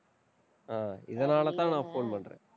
அஹ் இதனாலதான், நான் phone பண்றேன்